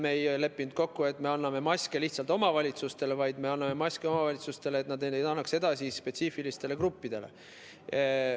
Me ei leppinud kokku, et me lihtsalt anname maske omavalitsustele, vaid me anname maske omavalitsustele, et nad annaks need edasi spetsiifilistele gruppidele.